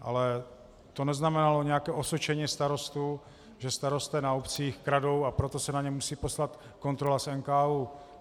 Ale to neznamenalo nějaké osočení starostů, že starostové na obcích kradou, a proto se na ně musí poslat kontrola z NKÚ.